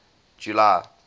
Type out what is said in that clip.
july